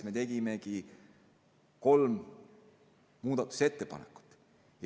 Me tegime kolm muudatusettepanekut.